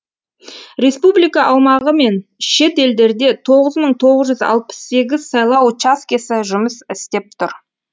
республика аумағы мен шет елдерде тоғыз мың тоғыз жүз алпыс сегіз сайлау учаскесі жұмыс істеп тұр